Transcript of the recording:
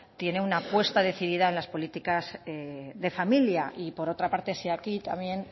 tiene una apuesta decidida en las políticas de familia y por otra parte si aquí también